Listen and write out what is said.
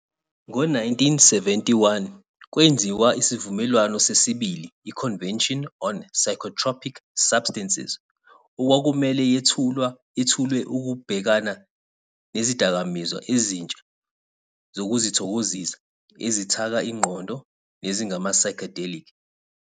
Ngo-1971, kwenziwa isivumelwano sesibili i- Convention on Psychotropic Substances okwakumele yethulwe ukubhekana nezidakamizwa ezintsha zokuzithokozisa ezithaka ingqondo nezingama-psychedelic.